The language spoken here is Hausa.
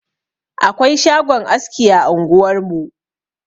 Akwai shagon aski a anguwarmu.